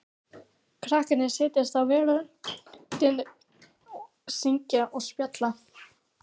Krakkarnir sitja á veröndinni, syngja og spjalla.